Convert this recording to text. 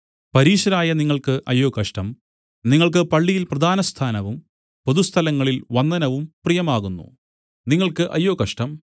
പരീശരായ നിങ്ങൾക്ക് അയ്യോ കഷ്ടം നിങ്ങൾക്ക് പള്ളിയിൽ പ്രധാന സ്ഥാനവും പൊതുസ്ഥലങ്ങളിൽ വന്ദനവും പ്രിയമാകുന്നു നിങ്ങൾക്ക് അയ്യോ കഷ്ടം